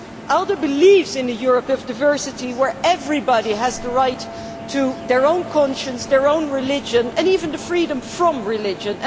ALDE believes in a Europe of diversity, where everybody has the right to their own conscience, their own religion and even the freedom from religion.